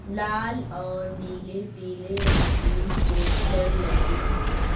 लाल और नीले पीले रंग के पोस्टर लगे हैं।